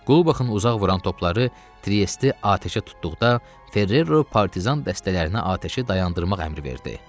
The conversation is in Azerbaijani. Qulbaxın uzaq vuran topları Triesi atəşə tutduqda Ferrero partizan dəstələrinə atəşi dayandırmaq əmri verdi.